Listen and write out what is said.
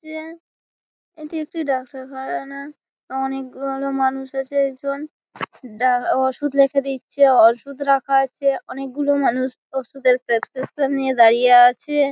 এ এটি একটি ডাক্তারখারানা অনেকগুলো মানুষ এসে ওষুধ লিখে দিচ্ছে ওষুধ রাখা আছে অনেকগুলো মানুষ ওষুধের প্রেসক্রিপশন নিয়ে দাঁড়িয়ে আছে --